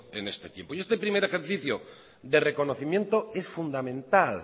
en este tiempo este primer ejercicio de reconocimiento es fundamental